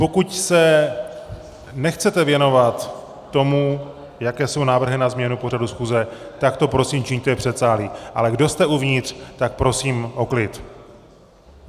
Pokud se nechcete věnovat tomu, jaké jsou návrhy na změnu pořadu schůze, tak to prosím čiňte v předsálí, ale kdo jste uvnitř, tak prosím o klid.